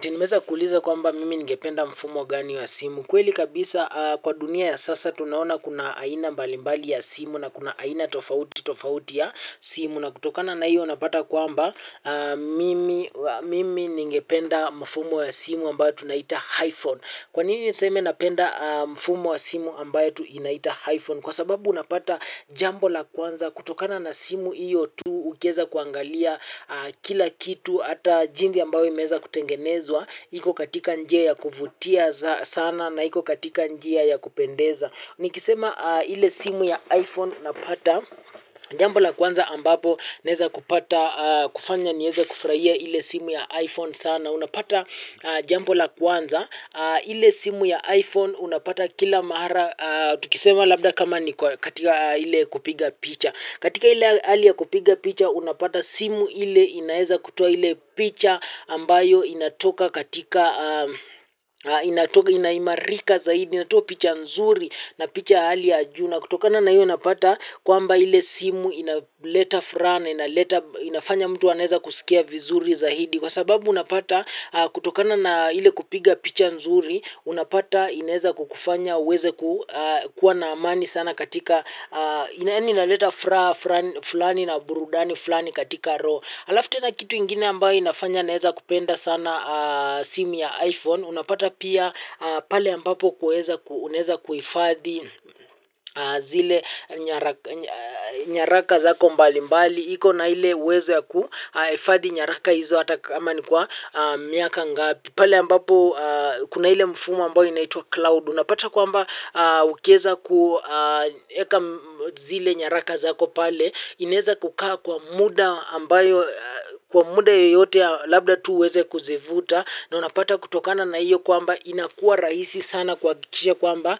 Tinimeza kuuliza kwamba mimi ningependa mfumo gani wa simu. Kweli kabisa kwa dunia ya sasa tunaona kuna aina mbalimbali ya simu na kuna aina tofauti tofauti ya simu. Na kutokana na hiyo unapata kwamba mimi ningependa mfumo wa simu ambayo tunaita iPhone. Kwanini niseme napenda mfumo wa simu ambayo tunaita iPhone? Kwa sababu unapata jambo la kwanza kutokana na simu hiyo tu ukieza kuangalia kila kitu. Ata jinsi ambayo imeeza kutengenezwa iko katika njia ya kuvutia sana na iko katika njia ya kupendeza nikisema ile simu ya iPhone napata jambola kwanza ambapo neza kupata kufanya nieze kufuraia ile simu ya iPhone sana unapata jambola kwanza ile simu ya iPhone unapata kila mara tukisema labda kama niko katika ile kupiga picha katika ile hali ya kupiga picha unapata simu ile inaeza kutoa ile picha ambayo inatoka katika ina imarika zaidi inatoa picha nzuri na picha ya hali ya juu na kutokana na hiyo unapata kwamba ile simu ina leta furaha na inaleta inafanya mtu anaeza kusikia vizuri zaidi kwa sababu unapata kutokana na ile kupiga picha nzuri unapata inaeza kukufanya uweze ku. Kuwa na amani sana katika ina leta furaha flani na burudani flani katika roho alafu tena kitu ingine ambayo inafanya naeza kupenda sana simu ya iPhone, unapata pia pale ambapo unaeza kuhifadhi zile nyaraka zako mbali mbali, iko na ile uwezo kuhifadhi nyaraka hizo hata kama ni kwa miaka ngapi, pale ambapo kuna ile mfumo ambayo inaitwa cloud, unapata kwamba ukieza kueka zile nyaraka zako pale, inaeza kukaa kwa muda ambayo kwa muda yoyote labda tu uweze kuzivuta na unapata kutokana na iyo kwamba inakua rahisi sana kuhakikisha kwamba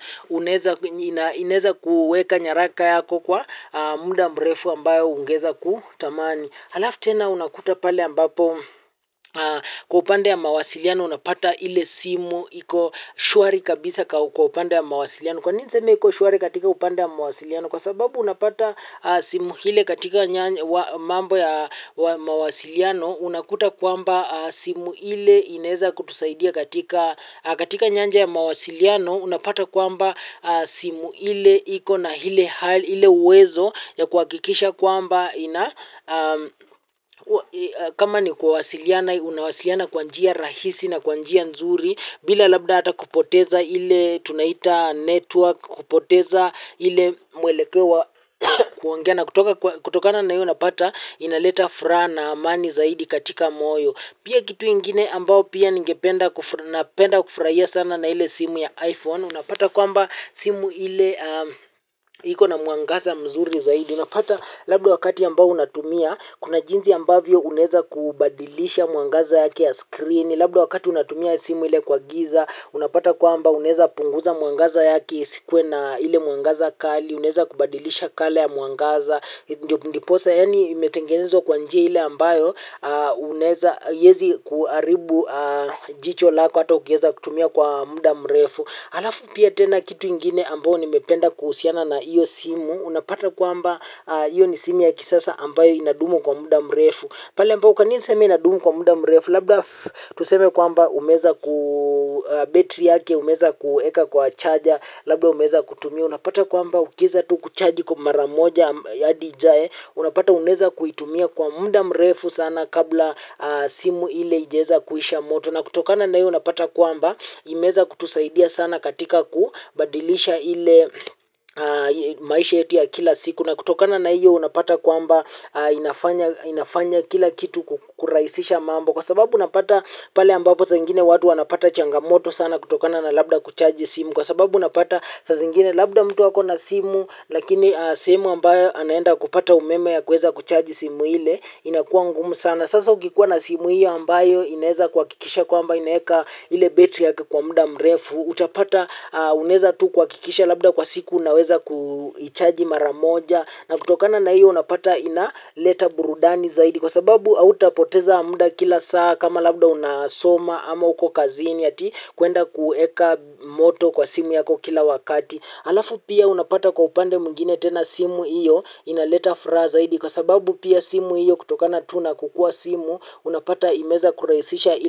ineza kuweka nyaraka yako kwa muda mrefu ambayo ungeeza kutamani halafu tena unakuta pale ambapo kwa upande ya mawasiliano unapata ile simu iko shuari kabisa kwa upande ya mawasiliano kwa nini niseme iko shuari katika upande ya mawasiliano kwa sababu unapata simu ile katika mambo ya mawasiliano unakuta kwamba simu iile inaeza kutusaidia katika katika nyanja ya mawasiliano unapata kwamba simu ile iko na ile uwezo ya kuhakikisha kwamba kama ni kuwasiliana unawasiliana kwanjia rahisi na kwanjia nzuri bila labda hata kupoteza ile tunaita network kupoteza ile mwelekeo kiongea na kutokana na hiyo unapata inaleta furaha na amani zaidi katika moyo pia kitu ingine ambayo pia napenda kufurahia sana na ile simu ya iPhone unapata kwamba simu ile iko na muangaza mzuri zaidi unapata labdo wakati ambao unatumia kuna jinsi ambavyo unaeza kubadilisha muangaza yake ya screen labda wakati unatumia simu ile kwa giza unapata kwamba unaeza punguza muangaza yaki isikuwe na ile muangaza kali unaeza kubadilisha kala ya muangaza ndiposa yani imetengenezwa kwanjia ile ambayo unaeza haiezi kuharibu jicho lako hata ukieza kutumia kwa muda mrefu. Alafu pia tena kitu ingine ambayo nimependa kuhusiana na iyo simu unapata kwamba iyo ni simu ya kisasa ambayo inadumu kwa muda mrefu pale ambayo kwanini niseme inadumu kwa muda mrefu labda tuseme kwamba umeweza kubetri yake umeweza kueka kwa charger labda umeweza kutumia unapata kwamba ukeiza tu kucharji kwa maramoja ya hadi ijae unapata uneza kuitumia kwa muda mrefu sana kabla simu ile haijaeza kuisha moto na kutokana na iyo unapata kwamba imeweza kutusaidia sana katika kubadilisha ile maisha yetu ya kila siku na kutokana na iyo unapata kwamba inafanya kila kitu kuraisisha mambo kwa sababu napata pale ambapo saingine watu wanapata changamoto sana kutokana na labda kuchaji simu kwa sababu unapata sazingine labda mtu ako na simu lakini sehemu ambayo anaenda kupata umeme ya kueza kuchaji simu ile inakuwa ngumu sana sasa ukikuwa na simu hiyo ambayo inaeza kuhakikisha kwamba inaeka ile betri yaka kwa muda mrefu utapata unaeza tu kuhakikisha labda kwa siku unaweza kuichaji maramoja na kutokana na hiyo unapata inaleta burudani zaidi kwa sababu hautapoteza muda kila saa kama labda unasoma ama uko kazini ati kuenda kueka moto kwa simu yako kila wakati. Alafu pia unapata kwa upande mwengine tena simu hiyo inaleta furaha zaidi kwa sababu pia simu hiyo kutokana tuna kukua simu unapata imeweza kurahisisha ili.